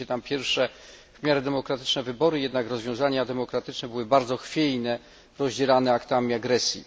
odbyły się tam pierwsze w miarę demokratyczne wybory, te jednak rozwiązania demokratyczne były bardzo chwiejne, rozdzierane aktami agresji.